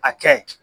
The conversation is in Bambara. A kɛ